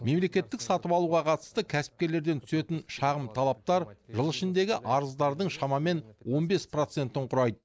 мемлекеттік сатып алуға қатысты кәсіпкерлерден түсетін шағым талаптар жыл ішіндегі арыздардың шамамен он бес процентін құрайды